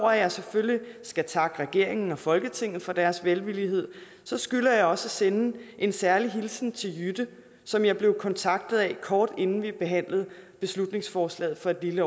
at jeg selvfølgelig skal takke regeringen og folketinget for deres velvillighed skylder jeg også at sende en særlig hilsen til jytte som jeg blev kontaktet af kort inden vi behandlede beslutningsforslaget for et lille